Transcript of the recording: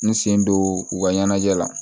N sen don u ka ɲɛnajɛ la